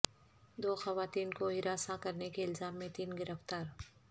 دو خواتین کو ہراساں کرنے کے الزام میں تین گرفتار